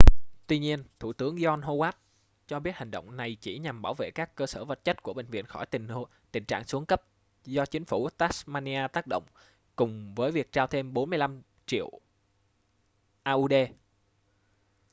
tuy nhiên thủ tướng john howard cho biết hành động này chỉ nhằm bảo vệ các cơ sở vật chất của bệnh viện khỏi tình trạng xuống cấp do chính phủ tasmania tác động cùng với việc trao thêm $45 triệu aud